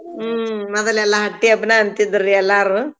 ಹ್ಮ್‌ ಮೊದಲೆಲ್ಲಾ ಹಟ್ಟಿಹಬ್ಬನ ಅಂತಿದ್ರ್ ರಿ ಎಲ್ಲಾರೂ.